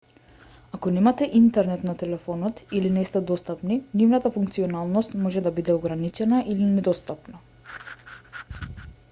ако немате интернет на телефонот или не сте достапни нивната функционалност може да биде ограничена или недостапна